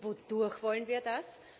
Und wodurch wollen wir das?